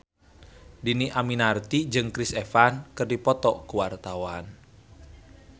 Dhini Aminarti jeung Chris Evans keur dipoto ku wartawan